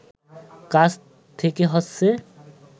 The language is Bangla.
কাছ থেকে হচ্ছে